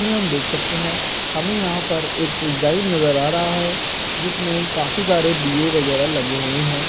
इसमें हम देख सकते हैं हमें यहाँ पर एक डिजाइन नज़र आ रहा है जिसमें काफी सारे दीये वगेरह लगे हुए हैं।